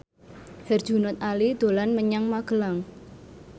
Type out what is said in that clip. Herjunot Ali dolan menyang Magelang